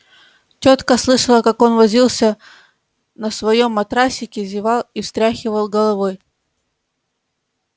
тётка слышала как он возился на своём матрасике зевал и встряхивал головой